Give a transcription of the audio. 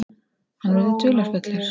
Hann verður dularfullur.